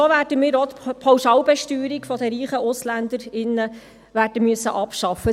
So werden wir auch die Pauschalbesteuerung reicher Ausländerinnen und Ausländer abschaffen müssen.